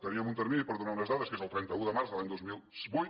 teníem un termini per donar unes dades que és el trenta un de març de l’any dos mil vuit